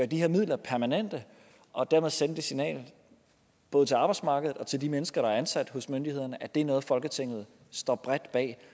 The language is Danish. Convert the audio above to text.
de her midler permanente og dermed sende det signal både til arbejdsmarkedet og til de mennesker der er ansat hos myndighederne at det er noget folketinget står bredt bag